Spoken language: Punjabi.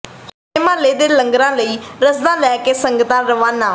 ਹੋਲੇ ਮਹੱਲੇ ਦੇ ਲੰਗਰਾਂ ਲਈ ਰਸਦਾਂ ਲੈ ਕੇ ਸੰਗਤਾਂ ਰਵਾਨਾ